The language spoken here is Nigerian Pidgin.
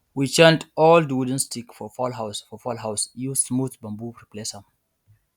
we change old wooden stick for fowl house for fowl house use smooth bamboo replace am